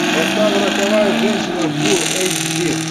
поставь роковая женщина фул эйч ди